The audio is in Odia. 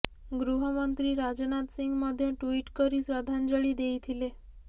ଗୃହମନ୍ତ୍ରୀ ରାଜନାଥ ସିଂ ମଧ୍ୟ ଟ୍ୱିଟ କରି ଶ୍ରଦ୍ଧାଞ୍ଜଳି ଦେଇଥିଲେ